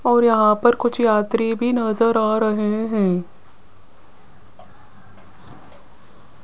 और यहां पर कुछ यात्री भी नजर आ रहे हैं।